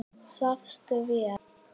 Svafstu vel?